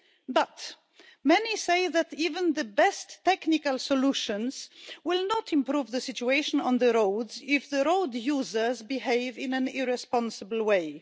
But many say that even the best technical solutions will not improve the situation on the roads if the road users behave in an irresponsible way.